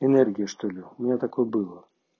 энергия что ли у меня такое было